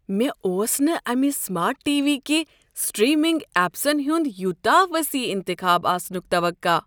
مےٚ اوس نہٕ امہِ سمارٹ ٹی۔ وی كہِ سٹریمِنگ ایپسن ہنٛد یوٗتاہ وسیع انتخاب آسنُک توقع ۔